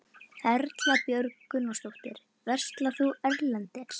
Erla Björg Gunnarsdóttir: Verslar þú erlendis?